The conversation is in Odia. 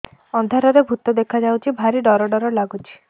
ଅନ୍ଧାରରେ ଭୂତ ଦେଖା ଯାଉଛି ଭାରି ଡର ଡର ଲଗୁଛି